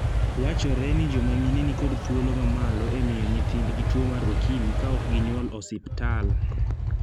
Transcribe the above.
Wachore ni joma mine ni kod thuolo ma malo e miyo nyithindgi tuo mar okimi ka ok ginyuol osiptal.